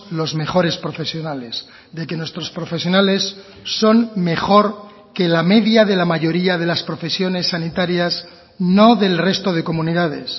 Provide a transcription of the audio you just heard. los mejores profesionales de que nuestros profesionales son mejor que la media de la mayoría de las profesiones sanitarias no del resto de comunidades